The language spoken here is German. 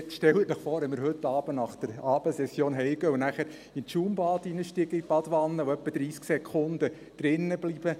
Stellen Sie sich vor, wenn wir heute Abend nach der Abendsession nach Hause gehen, ins Schaumbad in der Badewanne steigen und ungefähr 30 Sekunden drinbleiben.